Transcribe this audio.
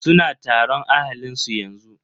Suna taron ahalin su yanzu.